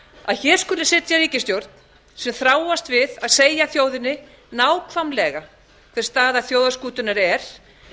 að hér skuli sitja ríkisstjórn sem þráast við að segja þjóðinni nákvæmlega hver staða þjóðarskútunnar er